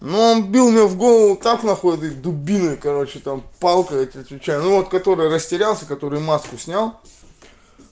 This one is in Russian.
ну он бил меня в голову как н ты дубина короче там полка этот вот который растерялся который маску снял